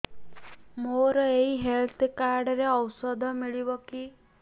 ମୋର ଏଇ health card ରେ ଔଷଧ ମିଳିବ କି